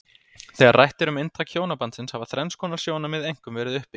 Þegar rætt er um inntak hjónabandsins hafa þrenns konar sjónarmið einkum verið uppi.